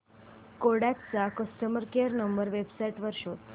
Kodak चा customer care number website वर शोध